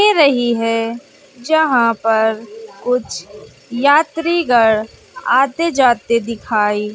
दे रही है जहां पर कुछ यात्रिगढ़ आते जाते दिखाई--